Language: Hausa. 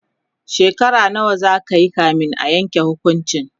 shekara nawa zakayi kamin a Yanke hukuncin?